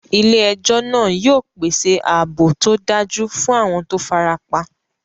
Ilé ejó náà yio pèsè ààbò tódájú fún àwon to farapa